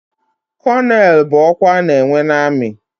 Kónónel bụ ọkwa ana enwe n'armi.